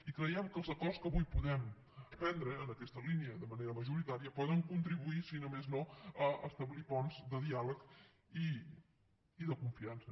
i creiem que els acords que avui podem prendre en aquesta línia de manera majoritària poden contribuir si més no a establir ponts de diàleg i de confiança